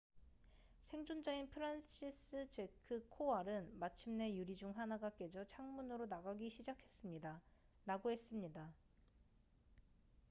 "생존자인 프란시스제크 코왈은 "마침내 유리 중 하나가 깨져 창문으로 나가기 시작했습니다""라고 했습니다.